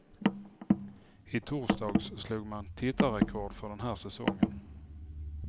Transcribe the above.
I torsdags slog man tittarrekord för den här säsongen.